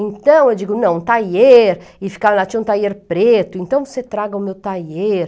Então, eu digo, não, um taier, e ela tinha um taier preto, então você traga o meu taier.